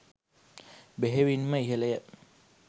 බෙහෙවින්ම ඉහළය.